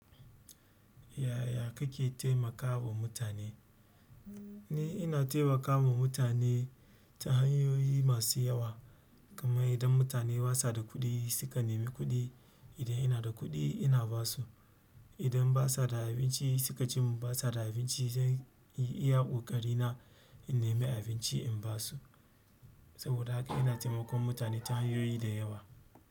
Yaya kake taimakawa mutane? Ni ina taimakawa mutane ta hanyoyi masu yawa. Kamar idan mutane basa da kuɗi, suka nemi kuɗi, idan ina da kuɗi ina basu. Idan basa da abinci, suka ce mun basa da abinci, zan yi iya ƙoƙari na, in nemi abinci in basu. Saboda haka ina taimakon mutane ta hanyoyi da yawa.